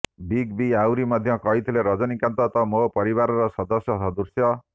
big B ଆହୁରି ମଧ୍ୟ କହିଥିଲେ ରଜନୀକାନ୍ତ ତ ମୋର ପରିବାରର ସଦସ୍ୟ ସଦୃଶ୍ୟ